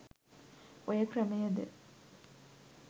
ඔය ක්‍රමයද